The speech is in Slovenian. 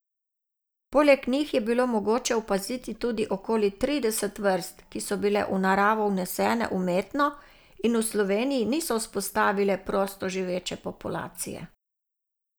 Poleg njih je bilo mogoče opaziti tudi okoli trideset vrst, ki so bile v naravo vnesene umetno in v Sloveniji niso vzpostavile prostoživeče populacije.